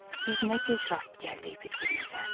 Biz nə gec rast gəldik bir-birimizə.